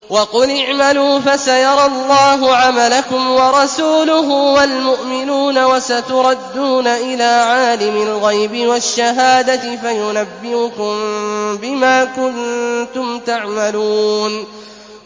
وَقُلِ اعْمَلُوا فَسَيَرَى اللَّهُ عَمَلَكُمْ وَرَسُولُهُ وَالْمُؤْمِنُونَ ۖ وَسَتُرَدُّونَ إِلَىٰ عَالِمِ الْغَيْبِ وَالشَّهَادَةِ فَيُنَبِّئُكُم بِمَا كُنتُمْ تَعْمَلُونَ